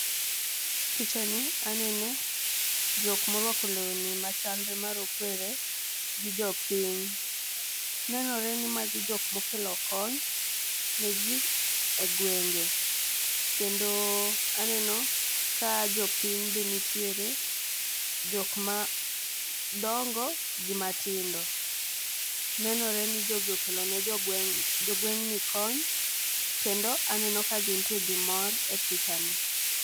l Picha ni anene jok morwako lewni machalre marokwere gi jopiny . Nenore ni magi jok mokelo kony ne jii e gwenge kendo aneno ka jopiny be nitiere jok ma dongo gi matindo. Nenore ni jogi okelo ne jogweng' jogweng'ni kony kendo aneno ka gintie gi mor e picha ni.